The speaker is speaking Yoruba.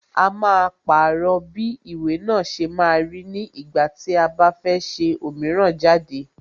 A máa pàrọ̀ bí ìwé náà ṣe máa rí ní ìgbà tí a bá fẹ́ ṣe òmíràn jáde.